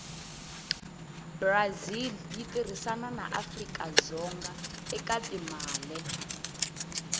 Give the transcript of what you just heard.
brazil yitirhisana naafrikadzonga ekatimale